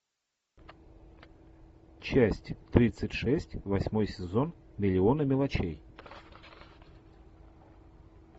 часть тридцать шесть восьмой сезон миллионы мелочей